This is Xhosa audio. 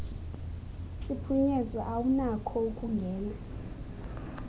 siphunyezwe awunakho ukungena